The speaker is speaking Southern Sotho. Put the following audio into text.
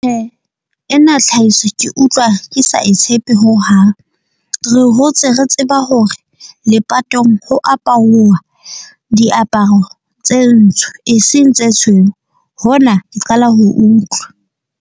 Ena tlhahiso ke utlwa ke sa e tshepe ho hang. Re hotse re tseba hore lepatong ho aparuwa diaparo tse ntsho e seng tse tshweu. Hona ke qala ho utlwa.